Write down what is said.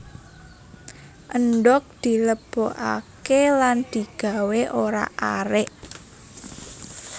Endhog dilebokake lan digawé orak arik